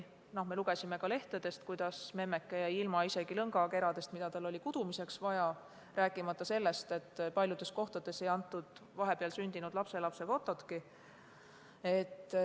Me lugesime lehtedest, kuidas memmeke jäi ilma isegi lõngakeradest, mida tal oli kudumiseks vaja, rääkimata sellest, et paljudes kohtades ei antud edasi vahepeal sündinud lapselapse fototki.